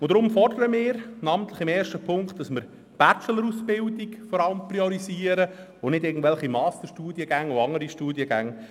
Deshalb fordern wir im ersten Punkt, die Bachelor-Ausbildungen zu priorisieren und nicht irgendwelche Master- und andere Studiengänge.